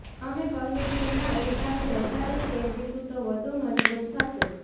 અમે કહ્યું કે ના ઊલટાનું વધારે ફેરવીશું તો વધુ મજબૂત થશે